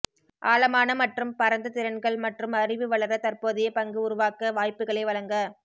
ஆழமான மற்றும் பரந்த திறன்கள் மற்றும் அறிவு வளர தற்போதைய பங்கு உருவாக்க வாய்ப்புகளை வழங்க